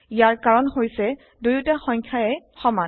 ইয়াৰ কাৰণ হৈছে দুয়োটা সংখ্যায়ে সমান